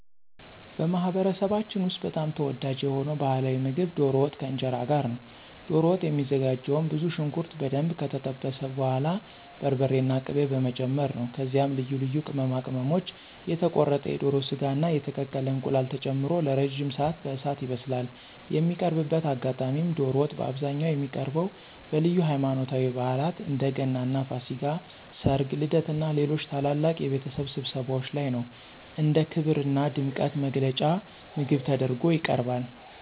በማኅበረሰባችን ውስጥ በጣም ተወዳጅ የሆነው ባሕላዊ ምግብ ዶሮ ወጥ ከእንጀራ ጋር ነው። ዶሮ ወጥ የሚዘጋጀውም ብዙ ሽንኩርት በደንብ ከጠበሱ በኋላ በርበሬና ቅቤ በመጨመር ነው። ከዚያም ልዩ ልዩ ቅመማ ቅመሞች፣ የተቆረጠ የዶሮ ሥጋና የተቀቀለ እንቁላል ተጨምሮ ለረጅም ሰዓት በእሳት ይበስላል። የሚቀርብበት አጋጣሚም ዶሮ ወጥ በአብዛኛው የሚቀርበው በልዩ ሃይማኖታዊ በዓላት (እንደ ገናና ፋሲካ)፣ ሠርግ፣ ልደትና ሌሎች ታላላቅ የቤተሰብ ስብሰባዎች ላይ ነው። እንደ ክብርና ድምቀት መግለጫ ምግብ ተደርጎ ይቀርባል።